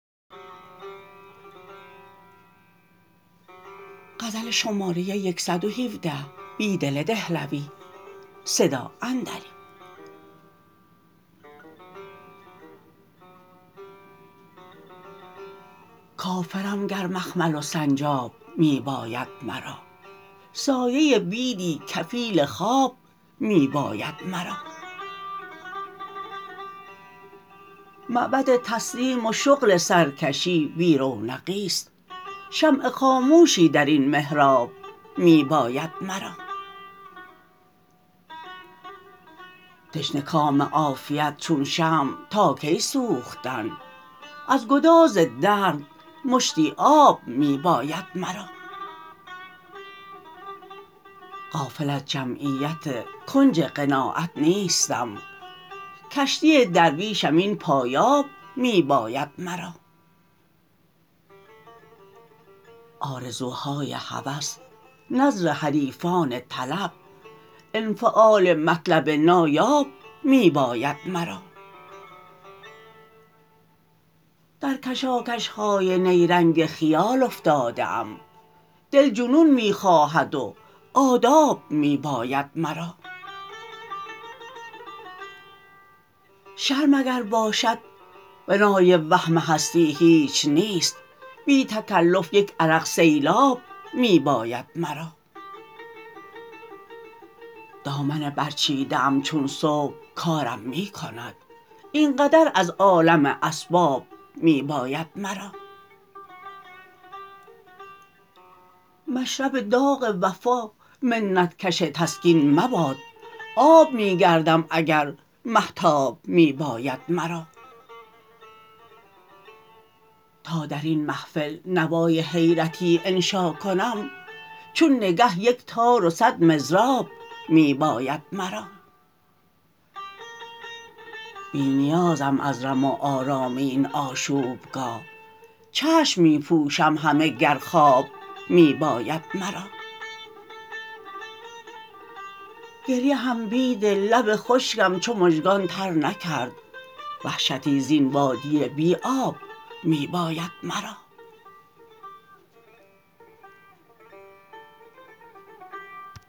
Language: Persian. کافرم گر مخمل و سنجاب می باید مرا سایه بیدی کفیل خواب می باید مرا معبد تسلیم و شغل سرکشی بی رونقی ست شمع خاموشی درین محراب می باید مرا تشنه کام عافیت چون شمع تاکی سوختن ازگداز درد مشتی آب می باید مرا غافل از جمعیت کنج قناعت نیستم کشتی درویشم این پایاب می باید مرا آرزوهای هوس نذر حریفان طلب انفعال مطلب نایاب می باید مرا در کشاکش های نیرنگ خیال افتاده ام دل جنون می خواهد و آداب می باید مرا شرم اگرباشد بنای وهم هستی هیچ نیست بی تکلف یک عرق سیلاب می باید مرا دامن برچیده ای چون صبح کارم می کند اینقدر از عالم اسباب می باید مرا مشرب داغ وفا منت کش تسکین مباد آب می گردم اگر مهتاب می باید مرا تا درین محفل نوای حیرتی انشاکنم چون نگه یک تار و صدمضراب می باید مرا بی نیازم از رم و آرام این آشوبگاه چشم می پوشم همه گر خواب می باید مرا گریه هم بیدل لب خشکم چومژگان ترنکرد وحشتی زین وادی بی آب می باید مرا